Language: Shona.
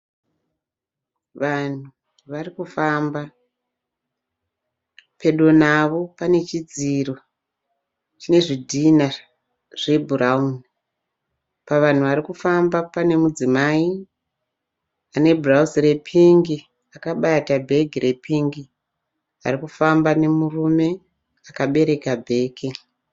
Vanhu vari kufamba, pedo navo pane chidziro chine zvidhina zve bhurauni. Pavanhu Vari kufamba pane mudzimai ane bhurauzi re pink akabata bhegi re pink arikufamba nemurume akabereka bhegi.